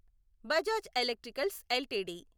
Bajaj electricals LTD